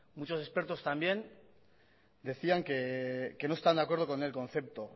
muchos expertos también decían que no están de acuerdo con el concepto